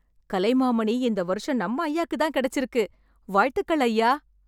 கலைமாமணி இந்த வருஷம் நம்ம ஐயாக்குத் தான் கிடைச்சிருக்கு. வாழ்த்துக்கள் ஐயா!